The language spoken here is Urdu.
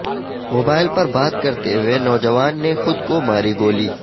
موبائل پر بات کرتے ہوئے نوجوان نے خود کو ماری گولی